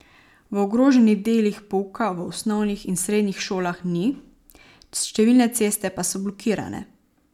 V ogroženih delih pouka v osnovnih in srednjih šolah ni, številne ceste pa so blokirane.